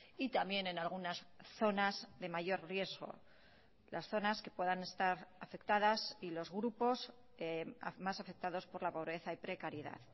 y también en algunas zonas de mayor riesgo las zonas que puedan estar afectadas y los grupos más afectados por la pobreza y precariedad